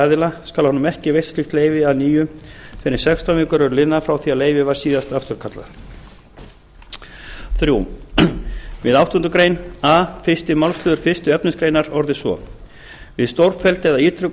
aðila skal honum ekki veitt slíkt leyfi að nýju fyrr en sextán vikur eru liðnar frá því að leyfi var síðast afturkallað þriðja við áttundu grein a fyrsta málsl fyrstu efnismgr orðist svo við stórfelld eða ítrekuð